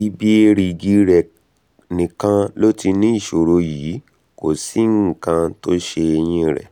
ibi èrìgì rẹ̀ nìkan ló ti ní ìṣòro yìí kò sí nǹkan tó ṣe eyín rẹ̀